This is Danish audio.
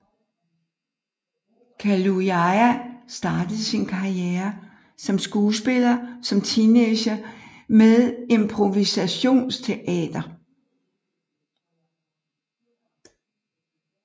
Kaluuya startede sin karriere som skuespiller som teenager med improvisationsteater